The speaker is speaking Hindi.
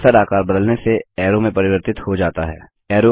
कर्सर आकार बदलने से एरो में प्रवर्तित हो जाता है